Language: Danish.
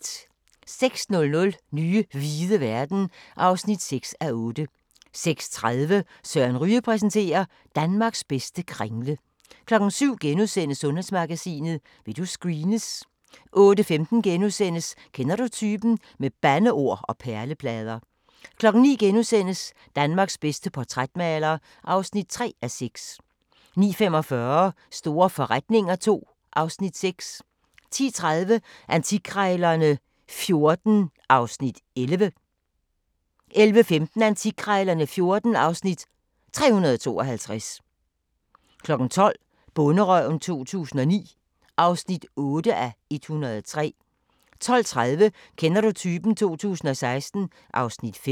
06:00: Nye hvide verden (6:8) 06:30: Søren Ryge præsenterer: Danmarks bedste kringle 07:00: Sundhedsmagasinet: Vil du screenes? * 08:15: Kender du typen? - med bandeord og perleplader * 09:00: Danmarks bedste portrætmaler (3:6)* 09:45: Store forretninger II (Afs. 6) 10:30: Antikkrejlerne XIV (Afs. 11) 11:15: Antikkrejlerne XIV (Afs. 352) 12:00: Bonderøven 2009 (8:103) 12:30: Kender du typen? 2016 (Afs. 5)